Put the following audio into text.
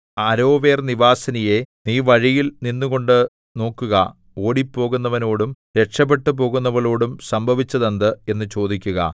അരോവേർനിവാസിനിയേ നീ വഴിയിൽ നിന്നുകൊണ്ടു നോക്കുക ഓടിപ്പോകുന്നവനോടും രക്ഷപെട്ടുപോകുന്നവളോടും സംഭവിച്ചതെന്ത് എന്നു ചോദിക്കുക